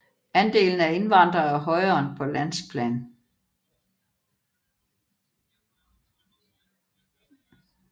Andelen af indvandrere er højere end på landsplan